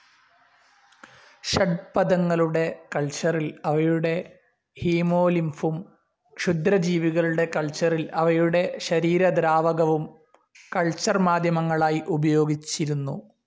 ഷഡ്പദങ്ങളുടെ കൾച്ചറിൽ അവയുടെ ഹീമോലിംഫും, ക്ഷുദ്രജീവികളുടെ കൾച്ചറിൽ അവയുടെ ശരീരദ്രാവകവും കൾച്ചർ മാധ്യമങ്ങളായി ഉപയോഗിച്ചിരുന്നു.